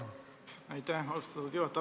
Aitäh, austatud juhataja!